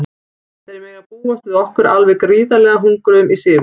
Þeir mega búast við okkur alveg gríðarlega hungruðum í sigur.